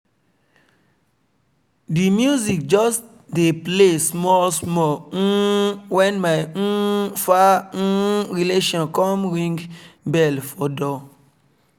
the music just dey play small small um when my um far um relation come ring bell for door